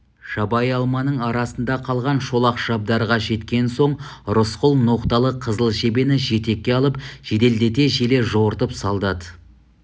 жабайы алманың арасында қалған шолақ шабдарға жеткен соң рысқұл ноқталы қызыл жебені жетекке алып жеделдете желе жортып солдат